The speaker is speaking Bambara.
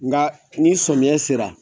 Nga ni sɔmiya sera.